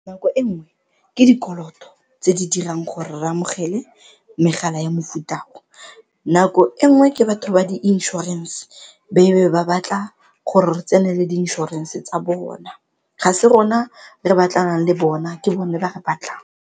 Nako e nngwe ke dikoloto tse di dirang gore re amogele megala ya mofuta o, nako e nngwe ke batho ba di inšorense be be ba batla gore re tsenele di inšorense tsa bona, ga se rona re batlanang le bona ke bone ba re batlang.